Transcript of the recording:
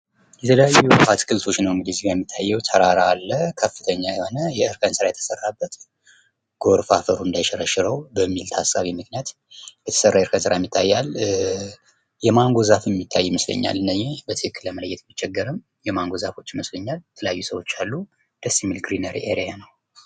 የተለያዩ አገልግሎቶች ነው እዚጋ እንግዲህ የሚታየው። ተራራ አለ ከፍተኛ የሆነ የእርከን የተሰራበት ጎርፍ አፈሩ እንዳይሸረሽረው በሚል ታሳቢ ምክንያት የተሰራ የፈጠራ ይታያል። ኧ የማንጎ ዛፍ የሚታይ ይመስለኛል። እነኚ በትክክል መለየት ብቸገረም ማንጎ ዛፎች ይመስለኛል። የተለያዩ ሰዎች አሉ። ደስ የሚል ክሊነር ኤርያ ነው።